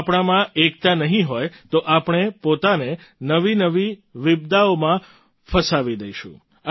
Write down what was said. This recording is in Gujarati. જો આપણામાં એકતા નહીં હોય તો આપણે પોતાને નવીનવી વિપદાઓમાં ફસાવી દઈશું